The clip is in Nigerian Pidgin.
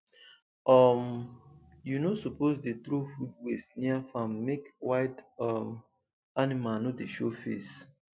um you no suppose dey throw food waste near farm make wild um animal no dey show face